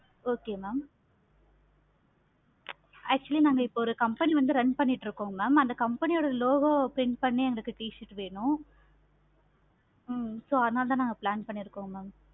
okay mam actually நாங்க ஒரு company வந்து run பண்ணிட்டு இருக்கோம். mam அந்த company ஓட logo print பண்ணி எங்களுக்கு t-shirt வேணும். ஹம் so அதுனால தான் நாங்க plan பண்ணிருகோம் ma'am